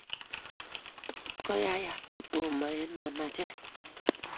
Tot koyaiyak kotomaa eng' manacheet